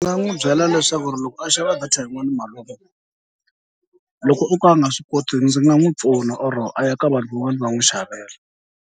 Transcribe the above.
Ni nga n'wi byela leswaku loko a xava data yin'wana malume loko o ka a nga swi koti ndzi nga n'wi pfuna or a ya ka vanhu van'wani va n'wi xavela.